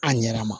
A ɲɛna